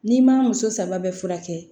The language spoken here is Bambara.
N'i ma muso saba bɛɛ furakɛ